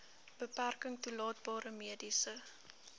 beperking toelaatbare mediese